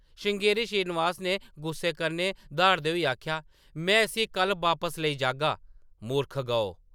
श्रृंगेरी श्रीनिवास ने गुस्से कन्नै द्हाड़दे होई आखेआ, “ “में इस्सी कल्ल बापस लेई जागा ! मूरख गौ !”